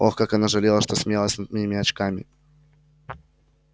ох как она жалела что смеялась над моими очками